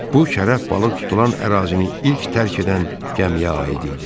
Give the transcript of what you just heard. Bu şərəf balıq tutulan ərazini ilk tərk edən gəmiyə aid idi.